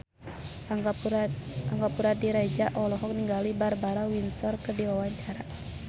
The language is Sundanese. Angga Puradiredja olohok ningali Barbara Windsor keur diwawancara